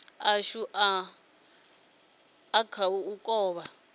ashu a kha u kovha